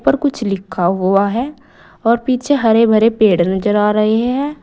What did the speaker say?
कुछ लिखा हुआ है और पीछे हरे भरे पेड़ नजर आ रहे है।